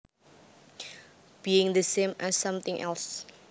Being the same as something else